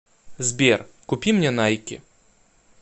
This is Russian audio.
сбер купи мне найки